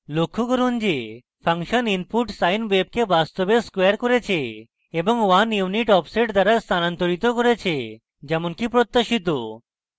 লক্ষ্য করুন যে ফাংশন input sine wave কে বাস্তবে squared করেছে এবং 1 unit offset দ্বারা স্থানান্তরিতও করেছে যেমনকি প্রত্যাশিত